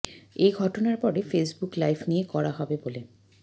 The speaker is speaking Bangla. এ ঘটনার পরে ফেসবুক লাইভ নিয়ে কড়া হবে বলে